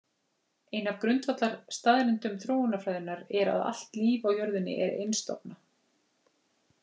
Ein af grundvallarstaðreyndum þróunarfræðinnar er að allt líf á jörðinni er einstofna.